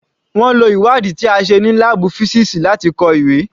Wọ́n lo ìwádìí ti a ṣe ní láàbù písíìsì láti kọ ìwé.